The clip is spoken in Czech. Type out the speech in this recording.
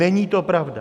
Není to pravda.